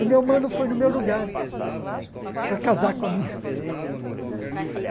O meu mano foi no meu lugar para casar com a minha esposa.